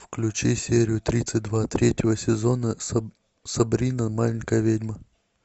включи серию тридцать два третьего сезона сабрина маленькая ведьма